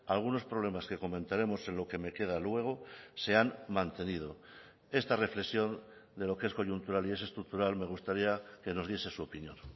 algunos problemas que comentaremos en lo que me queda luego se han mantenido esta reflexión de lo que es coyuntural y es estructural me gustaría que nos diese su opinión